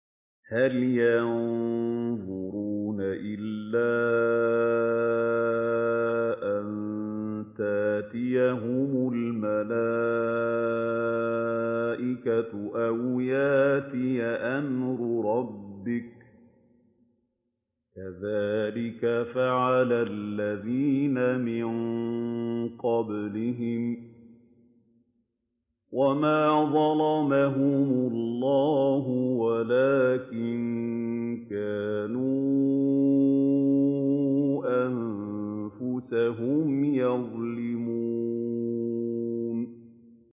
هَلْ يَنظُرُونَ إِلَّا أَن تَأْتِيَهُمُ الْمَلَائِكَةُ أَوْ يَأْتِيَ أَمْرُ رَبِّكَ ۚ كَذَٰلِكَ فَعَلَ الَّذِينَ مِن قَبْلِهِمْ ۚ وَمَا ظَلَمَهُمُ اللَّهُ وَلَٰكِن كَانُوا أَنفُسَهُمْ يَظْلِمُونَ